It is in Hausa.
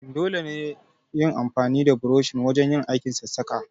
Dole ne yin amfani da burushi wujen aikin sassaƙa.